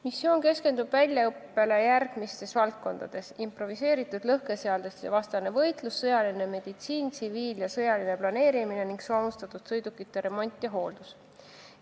Missioon keskendub väljaõppele järgmistes valdkondades: improviseeritud lõhkeseadeldiste vastane võitlus, sõjaline meditsiin, tsiviil- ja sõjaline planeerimine ning soomustatud sõidukite remont ja hooldus.